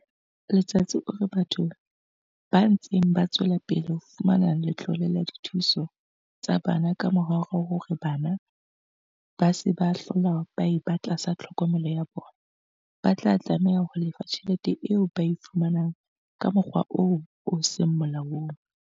Letsatsi o re batho ba ntseng ba tswela pele ho fumana letlole la dithuso tsa bana kamora hore bana ba se ba hlola ba eba tlasa tlhokomelo ya bona, ba tla tlameha ho lefa tjhelete eo ba e fumaneng ka mokgwa oo o seng molaong.